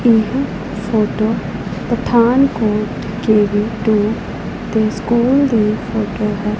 ਇਹ photo Pathankot school ਦੀ photo ਹੈ।